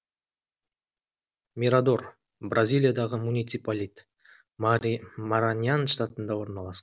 мирадор бразилиядағы муниципалитет мараньян штатында орналасқан